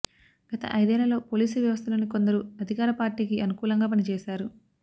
గత ఐదేళ్లలో పోలీసు వ్యవస్థలోని కొందరు అధికార పార్టీకి అనుకూలంగా పనిచేశారు